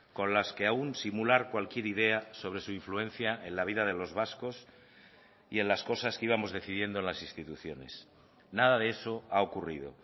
con las que aún simular cualquier idea sobre su influencia en la vida de los vascos y en las cosas que íbamos decidiendo en las instituciones nada de eso ha ocurrido